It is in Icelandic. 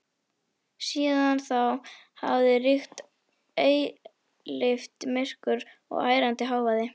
Síðan þá hafði ríkt eilíft myrkur og ærandi hávaði.